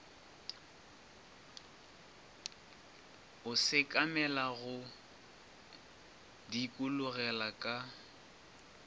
o sekamela go dikologela ka